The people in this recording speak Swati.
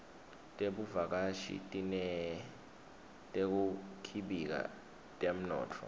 tebuvakashi tineteku khibika temnotfo